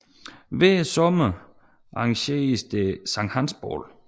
Hver sommer arrangeres der Sankt Hans bål